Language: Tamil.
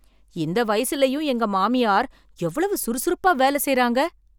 இந்த வயசுலையும் எங்க மாமியார் எவ்வளவு சுறுசுறுப்பா வேலை செய்றாங்க